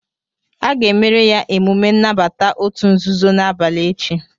A ga-emere ya emume nnabata òtù nzuzo n'abalị echi